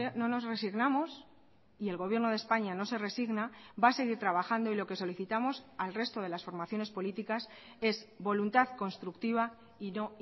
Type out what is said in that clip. no nos resignamos y el gobierno de españa no se resigna va a seguir trabajando y lo que solicitamos al resto de las formaciones políticas es voluntad constructiva y no